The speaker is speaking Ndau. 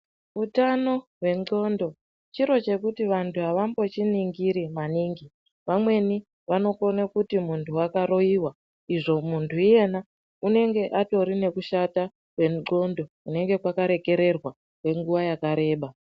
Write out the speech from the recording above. Utano hwendxondo chiro chekuti vantu avambochiningiri maningi. Vamweni vanokone kuti muntu wakaroiwa izvo muntu iyena unenge atori nekushata kwendxondo kunenge kwakarekererwa kwenguwa yakareba.